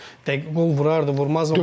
dəqiq qol vurardı, vurmazdı.